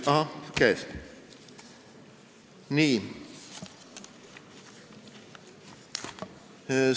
Ahaa, käes!